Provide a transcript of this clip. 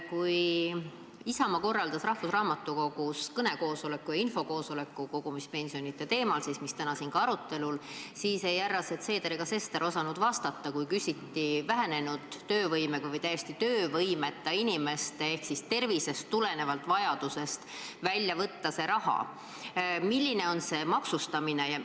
Kui Isamaa korraldas rahvusraamatukogus kõnekoosoleku ja infokoosoleku kogumispensionide teemal, mis täna ka siin arutelul on, siis härrased Seeder ja Sester ei osanud vastata, kui küsiti vähenenud töövõimega või täiesti töövõimeta inimeste maksustamise kohta, kui neil on vajadus see raha tervisest tulenevalt teisest sambast välja võtta.